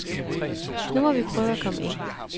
Nu må vi prøve at komme ind.